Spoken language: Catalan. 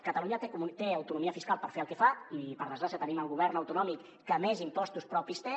catalunya té autonomia fiscal per fer el que fa i per desgràcia tenim el govern autonòmic que més impostos propis té